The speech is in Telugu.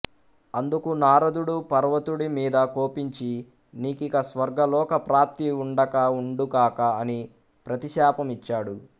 అందుకు నారదుడు పర్వతుడి మీద కోపించి నీకిక స్వర్గ లోక ప్రాప్తి ఉండక ఉండుకాక అని ప్రతిశాపం ఇచ్చాడు